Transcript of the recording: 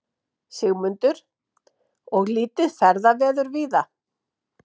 Sigmundur: Og lítið ferðaveður víða?